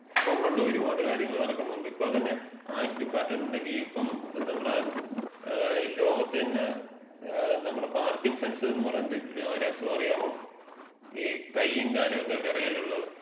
ഒണ്ട്ണ്ട്, ഒരുപാട് കാര്യങ്ങള് നടക്കുന്നുണ്ട്. ഇപ്പം തന്നെ ആയുഷ് ഡിപ്പാട്ട്മെന്‍റിന്‍റെ കീഴില്, ഇപ്പം നമ്മടെ ലോകത്തെന്നെ നമ്മടെ പാർക്കിൻസൺസ് എന്ന് പറഞ്ഞോരു അസുഖറിയാവോ? ഈ കയ്യും കാലുംക്കെ വെറയലുള്ളത്.